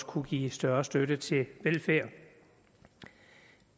kunne give større støtte til velfærd